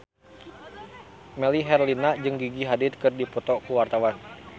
Melly Herlina jeung Gigi Hadid keur dipoto ku wartawan